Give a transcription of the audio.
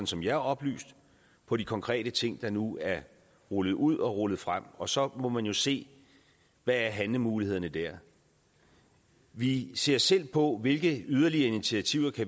som jeg er oplyst på de konkrete ting der nu er rullet ud og rullet frem og så må man jo se hvad er handlemulighederne der vi ser selv på hvilke yderligere initiativer